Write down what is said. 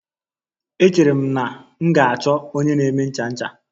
Echere m na m ga-achọ onye na-eme ncha ncha.